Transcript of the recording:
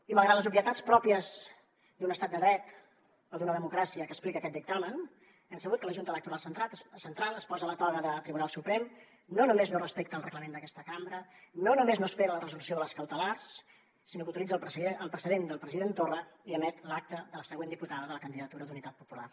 i malgrat les obvietats pròpies d’un estat de dret o d’una democràcia que explica aquest dictamen hem sabut que la junta electoral central es posa la toga de tribunal suprem no només no respecta el reglament d’aquesta cambra no només no espera la resolució de les cautelars sinó que utilitza el precedent del president torra i emet l’acta de la següent diputada de la candidatura d’unitat popular